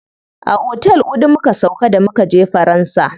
A otel huɗu muka sauƙa da mukaje faransa.